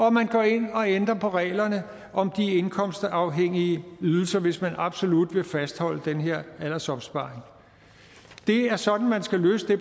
at man går ind og ændrer på reglerne om de indkomstafhængige ydelser hvis man absolut vil fastholde den her aldersopsparing det er sådan man skal løse det